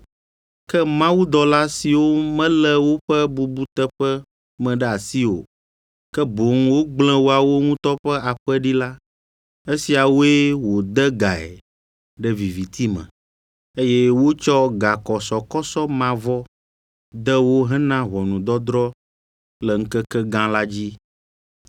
Ke mawudɔla siwo melé woƒe bubuteƒe me ɖe asi o, ke boŋ wogblẽ woawo ŋutɔ ƒe aƒe ɖi la, esiawoe wòde gae ɖe viviti me, eye wotsɔ gakɔsɔkɔsɔ mavɔ de wo hena ʋɔnudɔdrɔ̃ le Ŋkekegã la dzi.